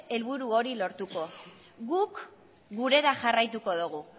helburu hori lortuko guk gurera jarraituko dogu